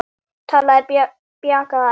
Talaði bjagaða ensku: